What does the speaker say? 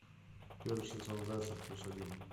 первый сезон зайцев плюс один